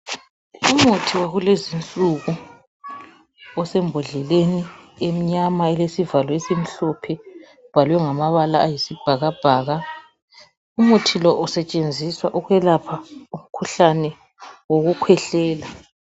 Umuthi wakulezinsuku osembodleleni emnyama elesivalo esimhlophe ubhalwe ngamabala ayisibhakabhaka umuthi lo usetshenziswa ukwelapha umkhuhlane wokukhwehlela